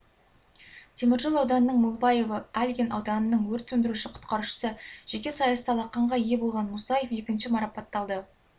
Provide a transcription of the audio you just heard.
теміржол ауданының молбаевы альгин ауданының өрт сөндіруші-құтқарушысы жеке сайыста алақанға ие болған мусаев екінші марапатталды